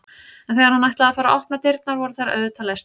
En þegar hann ætlaði að fara að opna dyrnar voru þær auðvitað læstar.